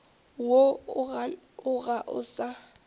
woo o ga o sa